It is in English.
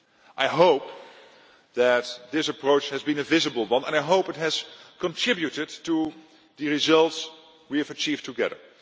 I hope that this approach has been a visible one, and I hope it has contributed to the results we have achieved together.